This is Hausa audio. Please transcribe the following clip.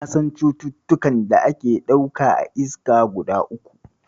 Na san cututtukan da ake ɗauka a iska guda uku.